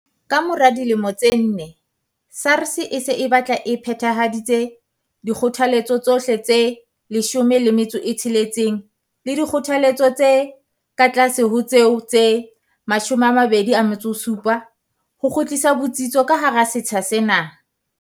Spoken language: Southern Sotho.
Ka mora dilemo tse nne, SARS e se batla e phethahaditse dikgothaletso tsohle tse 16 le dikgothaletso tse ka tlase ho tseo tse 27 ho kgutlisa botsitso ka hara setsha sena.